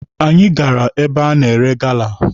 Anyị gara ebe a na-ere gala.